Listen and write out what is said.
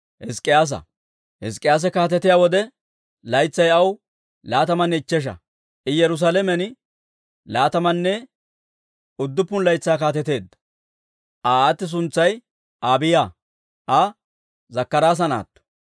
Hizk'k'iyaase kaatetiyaa wode, laytsay aw laatamanne ichchesha; I Yerusaalamen laatamanne udduppun laytsaa kaateteedda. Aa aati suntsay Abiiya; Aa Zakkaraasa naatto.